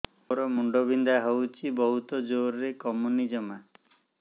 ମୋର ମୁଣ୍ଡ ବିନ୍ଧା ହଉଛି ବହୁତ ଜୋରରେ କମୁନି ଜମା